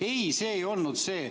Ei, see ei olnud see.